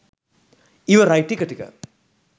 ඉවරයි ටික ටික